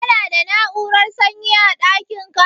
Ka na da na'urar sanyi a ɗakin ka?